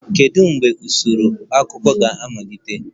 Kedu mgbe usoro akụkọ ga-amalite?